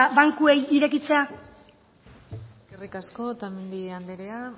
bankuei irekitzea eskerrik asko otamendi anderea